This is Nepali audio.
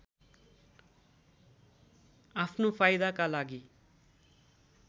आफ्नो फाइदाका लागि